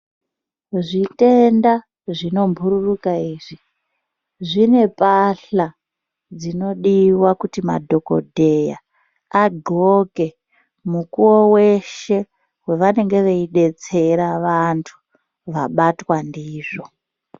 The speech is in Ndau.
Zvitenda zvinombururuka izvi dzine mbahla dzinodiwa kuti dhokodheya agonhle mukuwo weshe pevanenge veidetsera vantu vabatwa ndizvo.